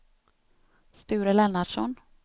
Sture Lennartsson